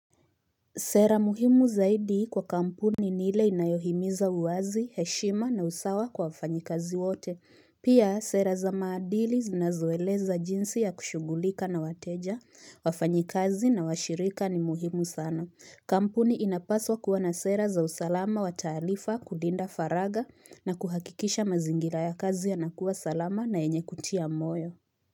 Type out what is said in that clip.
Sera muhimu zaidi kwa kampuni ni ile inayohimiza uwazi, heshima na usawa kwa wafanyikazi wote. Pia sera za maadili zinazoeleza jinsi ya kushugulika na wateja, wafanyikazi na washirika ni muhimu sana. Kampuni inapaswa kuwa na sera za usalama wa taarifa kulinda faragha na kuhakikisha mazingira ya kazi yanakua salama na yenye kutia moyo.